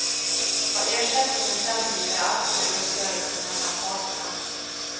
Vad ersättningen sen blir är alltid en uppgörelse mellan parterna.